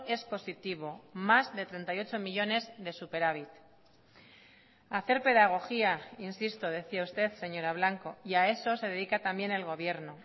es positivo más de treinta y ocho millónes de superávit hacer pedagogía insisto decía usted señora blanco y a eso se dedica también el gobierno